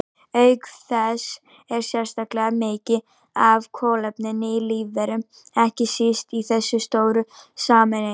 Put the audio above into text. Auk þess er sérstaklega mikið af kolefni í lífverum, ekki síst í þessum stóru sameindum.